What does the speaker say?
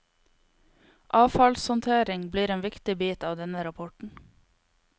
Avfallshåndtering blir en viktig bit av denne rapporten.